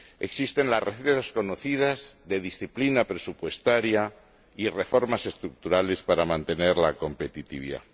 Existen las recetas conocidas de disciplina presupuestaria y reformas estructurales para mantener la competitividad.